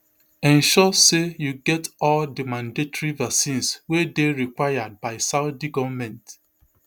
ensure say you get all di mandatory vaccines wey dey required by saudi goment